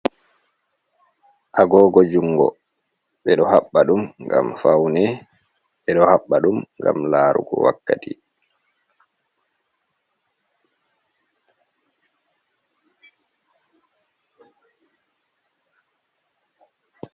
Agogo jungo be ɗo habba ɗum ngam faune. Be ɗo habba ɗum ngam larugo wakkati.